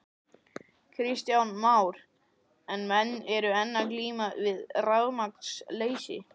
Kristján Már: En menn eru enn að glíma við rafmagnsleysi?